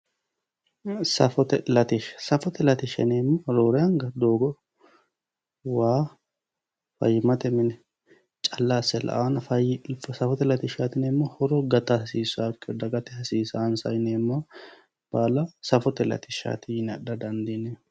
safote latishsha yaa roorenka waa doogo fayyimate latishsha calla yaanno mannu safote latishshaati yineemmohu horo gata hasiissaawokkiho safote latishshaati yineemmohu